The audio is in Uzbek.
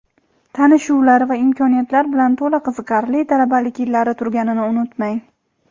tanishuvlar va imkoniyatlar bilan to‘la qiziqarli talabalik yillari turganini unutmang.